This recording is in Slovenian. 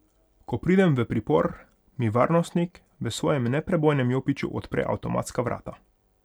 Ko pridem v pripor, mi varnostnik v svojem neprebojnem jopiču odpre avtomatska vrata.